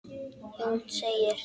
Jón segir: